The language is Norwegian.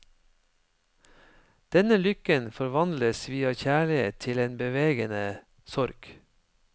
Denne lykken forvandles via kjærlighet til en bevegende sorg.